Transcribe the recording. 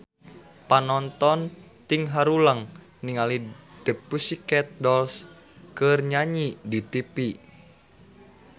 Panonton ting haruleng ningali The Pussycat Dolls keur nyanyi di tipi